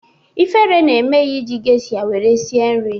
Ifere na-eme ya iji gesha were sie nri